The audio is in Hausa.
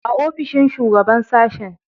A ofishin shugaban sashe.